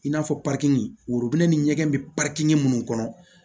I n'a fɔ worobinɛ ni ɲɛgɛn bɛ minnu kɔnɔ